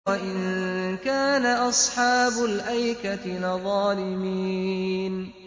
وَإِن كَانَ أَصْحَابُ الْأَيْكَةِ لَظَالِمِينَ